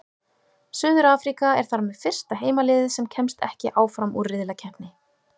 Suður-Afríka er þar með fyrsta heimaliðið sem kemst ekki áfram úr riðlakeppni.